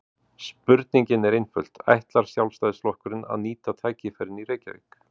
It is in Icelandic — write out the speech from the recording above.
Spurningin er einföld: Ætlar Sjálfstæðisflokkurinn að nýta tækifærin í Reykjavík?